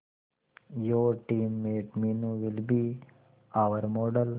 your teammate Meenu will be our model